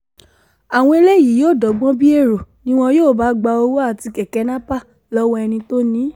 àwọn eléyìí yóò dọ́gbọ́n bíi èrò ni wọn yóò bá gba owó àti kẹ̀kẹ́ nàpèrlọ́wọ́ ẹni tó ni í